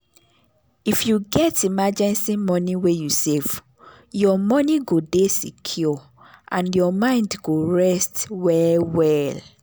if you get emergency money wey you save your money go dey secure and your mind go rest well well.